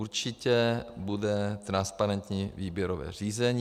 Určitě bude transparentní výběrové řízení.